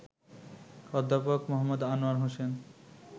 অধ্যাপক মো. আনোয়ার হোসেন